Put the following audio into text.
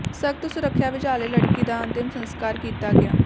ਸਖ਼ਤ ਸੁਰੱਖਿਆ ਵਿਚਾਲੇ ਲੜਕੀ ਦਾ ਅੰਤਿਮ ਸਸਕਾਰ ਕੀਤਾ ਗਿਆ